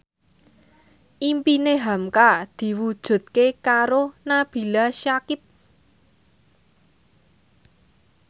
impine hamka diwujudke karo Nabila Syakieb